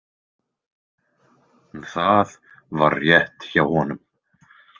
Það var rétt hjá honum.